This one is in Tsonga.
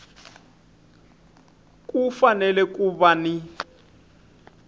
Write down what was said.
ku fanele ku va ni